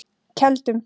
Keldum